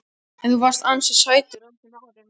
En þú varst ansi sætur á þeim árum.